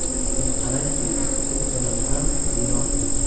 Buni qarangki, shu kanal ham binosiz.